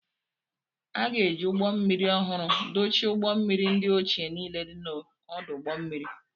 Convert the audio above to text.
A ga-eji ụgbọ mmiri ọhụrụ dochie ụgbọ mmiri ndị ochie niile dị n'ọdụ ụgbọ mmiri.